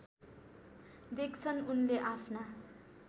देख्छन् उनले आफ्ना